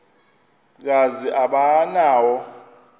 kazi aba nawo